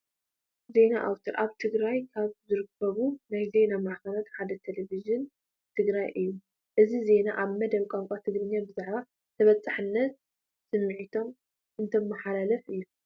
ዜና ኣውትር፡- ኣብ ትግራይ ካብ ዝርከቡ ናይ ዜና ማዕኸናት ሓደ ቴሌቪዥን ትግራይ እዩ፡፡ እዚ ዜና ኣብ መደብ ቋንቋ ትግርኛ ብዛዕባ ተበፃሕነት ስሚንቶ እንትመሓላለፍ እዩ፡፡